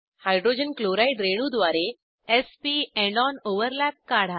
hydrogen chloride रेणूद्वारे s p end on overlap काढा